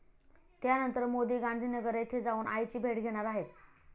त्यानंतर मोदी गांधीनगर येथे जाऊन आईची भेट घेणार आहेत.